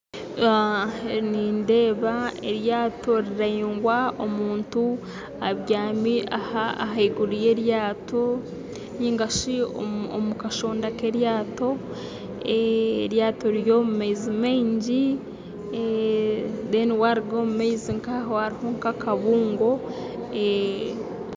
Nindeeba eryato riraingwa, omuntu abyami ahaiguru y'eryato nigashi omukashoonda k'eryato, eryato riri omu maizi maingi kandi aha rubanju rw'amaizi hariho akabungo